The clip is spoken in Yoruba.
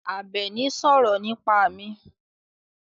Àbẹ̀ní sọ̀rọ̀ nípa mi.